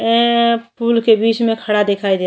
ए फूल के बीच में खड़ा दिखाई दे --